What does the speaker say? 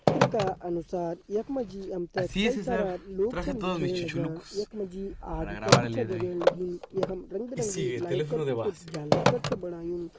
चित्र का अनुसार यख मा जी हम ते कई सारा लोग छन दिखेण लग्यां यख मा जी आग कर भी छ जगण लगीं यखम रंग बिरंगी लाइट कर कु कुछ झालर कर छ बणायु।